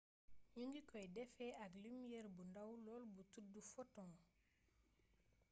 ñu ngi koy defee ak lumiere bu ndaw lool bu tuddu photon